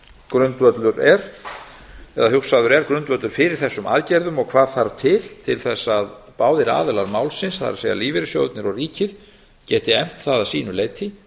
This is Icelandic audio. grundvöllur er eða hugsaður er grundvöllur fyrir þessum aðgerðum og hvað þarf til til þess að báðir aðilar málsins það er lífeyrissjóðirnir og ríkið geti efnt það að sínu leyti